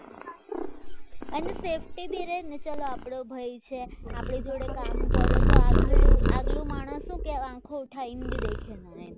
અને safety બી રહેને ચલો આપણા ભાઈ છે આપણી જોડે કામ કરે તો આપણે આગલો માણસ આપણો આંખો ઉઠાવી દેખે નહીં